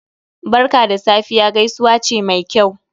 "Barka da Safiya" gaisuwa ce Mai kyau